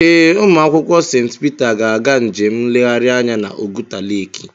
Ee, ụmụakwụkwọ St Peter ga-aga njem nleghari anya n'Oguta leki.